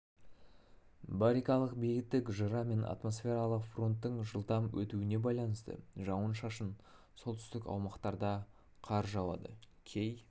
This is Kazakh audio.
барикалық биіктік жыра мен атмосфералық фронттың жылдам өтуіне байланысты жауын-шашын солтүстік аумақтарда қар жауады кей